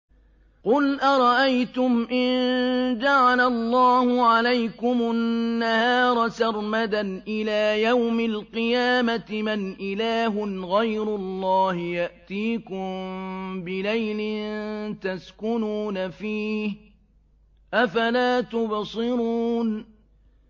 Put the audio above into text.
قُلْ أَرَأَيْتُمْ إِن جَعَلَ اللَّهُ عَلَيْكُمُ النَّهَارَ سَرْمَدًا إِلَىٰ يَوْمِ الْقِيَامَةِ مَنْ إِلَٰهٌ غَيْرُ اللَّهِ يَأْتِيكُم بِلَيْلٍ تَسْكُنُونَ فِيهِ ۖ أَفَلَا تُبْصِرُونَ